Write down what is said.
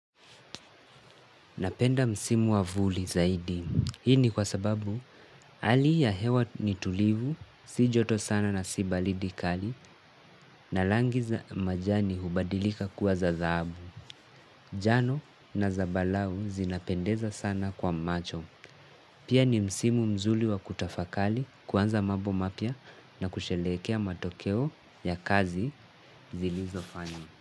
Napenda msimu wa vuli zaidi. Hii ni kwa sababu hali ya hewa ni tulivu, si joto sana na si baridi kali na rangi za majani hubadilika kuwa za dhahabu. Jano na zambarau zinapendeza sana kwa macho. Pia ni msimu mzuri wa kutafakari kuanza mambo mapya na kusherehekea matokeo ya kazi zilizofanywa.